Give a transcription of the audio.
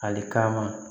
Hali ka ma